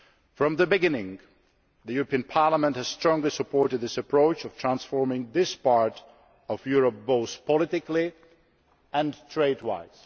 From the beginning Parliament has strongly supported this approach of transforming this part of Europe both politically and trade wise.